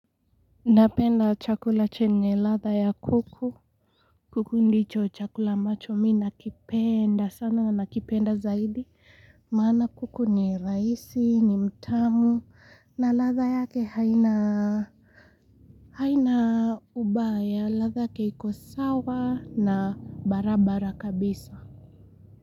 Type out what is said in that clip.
Napenda chakula chenye ladha ya kuku kuku ndicho chakula ambacho mi nakipenda sana nakipenda zaidi maana kuku ni raisi ni mtamu na ladha yake haina haina ubaya ladha yake iko sawa na barabara kabisa.